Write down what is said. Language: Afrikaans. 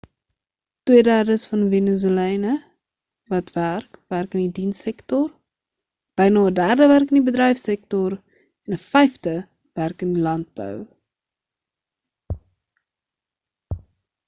twee derdes van venezolane wat werk werk in die dienstesektor byna 'n derde werk die bedryfsektor en 'n vyfde werk in landbou